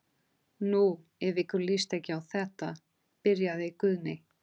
Nú, ef ykkur líst ekki á þetta. byrjaði Guðni.